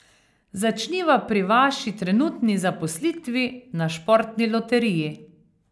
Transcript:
Začniva pri vaši trenutni zaposlitvi na športni loteriji.